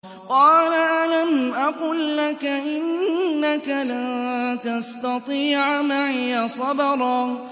۞ قَالَ أَلَمْ أَقُل لَّكَ إِنَّكَ لَن تَسْتَطِيعَ مَعِيَ صَبْرًا